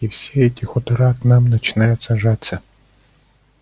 и все эти хутора к нам начинаются жаться